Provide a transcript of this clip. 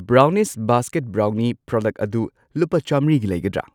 Brownish basket brownie product ꯑꯗꯨ ꯂꯨꯄꯥ ꯆꯥꯝꯃ꯭ꯔꯤꯒꯤ ꯂꯩꯒꯗ꯭ꯔꯥ?